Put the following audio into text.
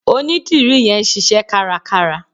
Onídìrí yẹn ń ṣíṣẹ́ kárakára.